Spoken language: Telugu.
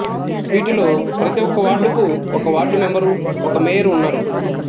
వీటిలో ప్రతి ఒక వార్డుకు ఒక వార్డు మెంబరు ఒక మేయరు ఉన్నారు